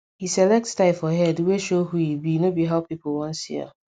he select style for head wey show who e be no be how people want see am